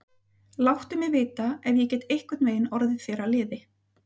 Láttu mig vita, ef ég get einhvern veginn orðið þér að liði.